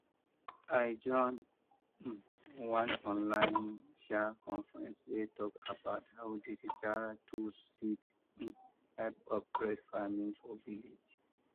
i join um one online um conference wey talk about how digital tools fit um help upgrade farming for village